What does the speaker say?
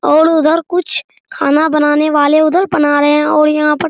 और उधर कुछ खाना बनाने वाले उधर बना रहे है और यहाँ पर --